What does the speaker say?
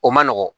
O man nɔgɔn